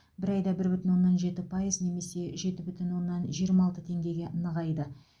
бір айда бір бүтін оннан жеті пайыз немесе жеті бүтін оннан жиырма алты теңгеге нығайды